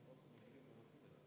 V a h e a e g